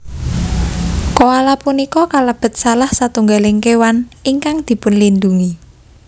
Koala punika kalebet salah setunggaling kéwan ingkang dipunlindungi